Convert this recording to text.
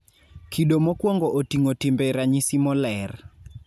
kido mokwongo oting'o timbe ranyisi moler